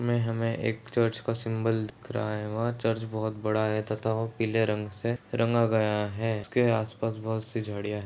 ये हमें एक चर्च का सिम्बल दिख रहा है वहाँ चर्च बहुत बड़ा है तथा वो पीले रंग से रंगा गया है उसके आस पास बहुत सी झाडियं है।